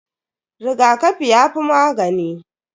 Rigakafi yafi magani.